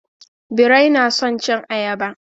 Birai na son cin ayaba.